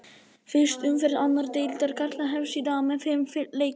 Fyrsta umferð annar deildar karla hefst í dag með fimm leikjum.